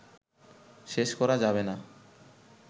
শেষ করা যাবে না